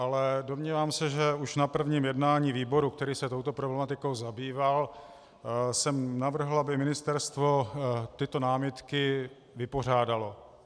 Ale domnívám se, že už na prvním jednání výboru, který se touto problematikou zabýval, jsem navrhl, aby ministerstvo tyto námitky vypořádalo.